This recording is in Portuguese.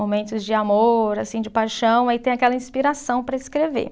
Momentos de amor, assim, de paixão, aí tem aquela inspiração para escrever.